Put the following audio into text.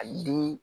A yili